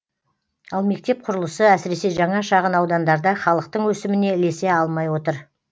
ал мектеп құрылысы әсіресе жаңа шағын аудандарда халықтың өсіміне ілесе алмай отыр